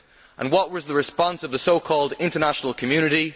And what was the response of the so called international community?